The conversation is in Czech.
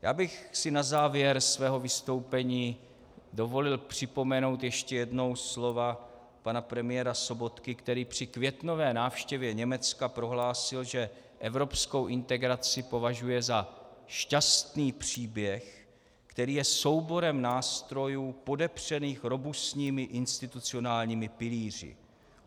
Já bych si na závěr svého vystoupení dovolil připomenout ještě jednou slova pana premiéra Sobotky, který při květnové návštěvě Německa prohlásil, že evropskou integraci považuje za šťastný příběh, který je souborem nástrojů podepřených robustními institucionálními pilíři.